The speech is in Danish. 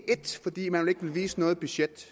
vise noget budget